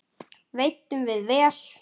Veiddum við vel.